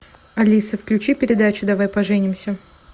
алиса включи передачу давай поженимся